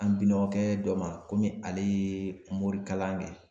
An Binɔgɔ kɛ dɔ ma, komi ale ye morikalan kɛ.